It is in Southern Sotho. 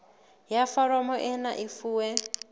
ya foromo ena e fuwe